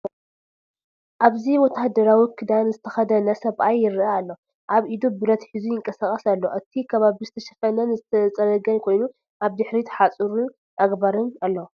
ኣብዚ ወተሃደራዊ ክዳን ዝተከደነ ሰብኣይ ይርአ ኣሎ። ኣብ ኢዱ ብረት ሒዙ ይንቀሳቐስ ኣሎ። እቲ ከባቢ ዝተሸፈነን ዝተጸረገን ኮይኑ፡ ኣብ ድሕሪት ሓጹርን ኣግራብን ኣሎ።